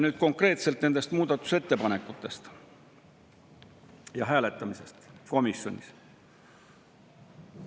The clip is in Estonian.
Nüüd konkreetselt nendest muudatusettepanekutest ja hääletamisest komisjonis.